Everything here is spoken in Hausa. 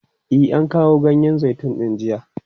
E, an kawo ganyen zaitun din jiya.